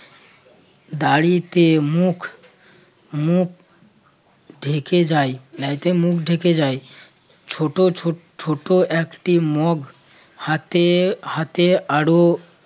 দাড়িতে মুখ~ মুখ ঢেকে যায় দাড়িতে মুখ ঢেকে যায় ছোট ছোট একটি মগ হাতে হাতে আরো